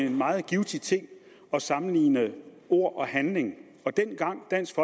en meget givtig ting at sammenligne ord og handling dengang dansk